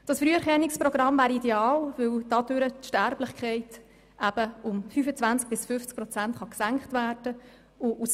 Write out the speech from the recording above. Das Früherkennungsprogramm wäre ideal, weil dadurch die Sterblichkeit um 25 bis 50 Prozent gesenkt werden kann.